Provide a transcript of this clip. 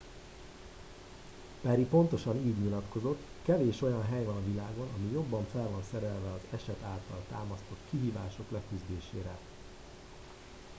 perry pontosan így nyilatkozott kevés olyan hely van a világon ami jobban fel van szerelve az eset által támasztott kihívások leküzdésére